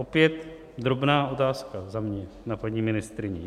Opět drobná otázka za mě na paní ministryni.